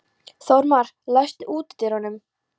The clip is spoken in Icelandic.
Þórmar, læstu útidyrunum.